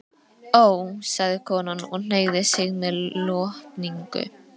Ó, sagði konan og hneigði sig með lotningu.